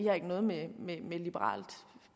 har ikke noget med med et liberalt